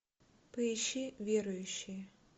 поищи верующие